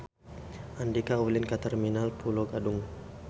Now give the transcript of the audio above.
Andika ulin ka Terminal Pulo Gadung